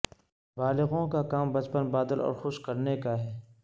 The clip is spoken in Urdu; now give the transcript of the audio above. بالغوں کا کام بچپن بادل اور خوش کرنے کا ہے